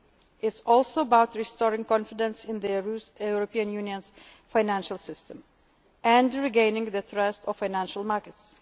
growth it is also about restoring confidence in the European Union's financial system and regaining the trust of